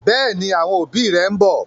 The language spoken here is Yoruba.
Bẹẹni, àwọn òbí rẹ ḿbọ̀